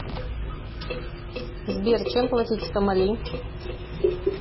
сбер чем платить в сомали